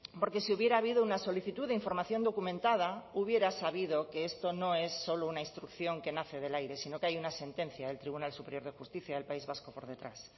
porque si hubiera habido una solicitud de información documentada hubiera sabido que esto no es solo una instrucción que nace del aire sino que hay una sentencia del tribunal superior de justicia del país vasco por detrás